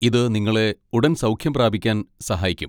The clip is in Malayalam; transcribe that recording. ഇത് നിങ്ങളെ ഉടൻ സൗഖ്യം പ്രാപിക്കാൻ സഹായിക്കും.